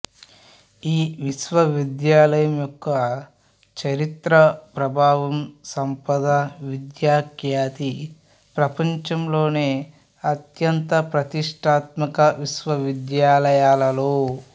ఈ విశ్వవిద్యాలయం యొక్క చరిత్ర ప్రభావం సంపద విద్యా ఖ్యాతి ప్రపంచంలోని అత్యంత ప్రతిష్టాత్మక విశ్వవిద్యాలయాలలో